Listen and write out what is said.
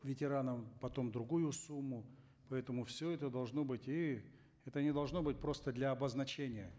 ветеранам потом другую сумму поэтому все это должно быть и это не должно быть просто для обозначения